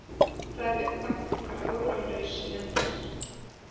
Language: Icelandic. Það er uggvænt hvar áralaus lendir.